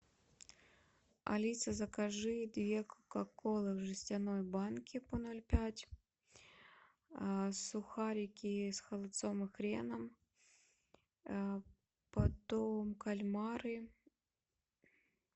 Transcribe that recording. алиса закажи две кока колы в жестяной банке по ноль пять сухарики с холодцом и хреном потом кальмары